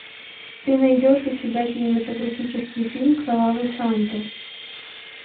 ты найдешь у себя кинематографический фильм кровавый санта